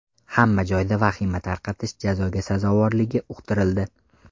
Hamma joyda vahima tarqatish jazoga sazovorligi uqtirildi.